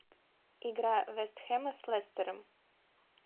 игра вест хэма с лестером